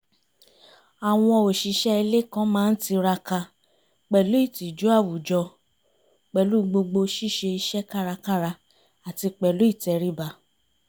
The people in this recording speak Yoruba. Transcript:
àwọn òṣìṣẹ́ ilé kan má ń tiraka pẹ̀lú ìtìjú àwùjọ pẹ̀lú gbogbo ṣíṣe iṣẹ́ kárakára àti pẹ̀lú ìtẹríba